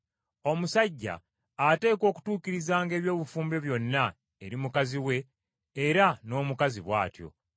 Omusajja ateekwa okutuukirizanga eby’obufumbo byonna eri mukazi we era n’omukazi bw’atyo.